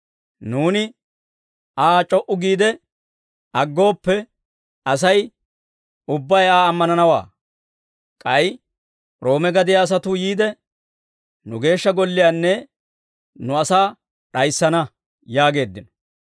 Nuuni Aa c'o"u giide, aggooppe, Asay ubbay Aa ammananawaa; k'ay Roome gadiyaa asatuu yiide, nu Geeshsha Golliyaanne nu asaa d'ayissana» yaageeddino.